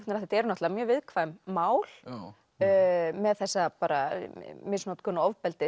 þetta eru náttúrulega mjög viðkvæm mál með þessa misnotkun og ofbeldi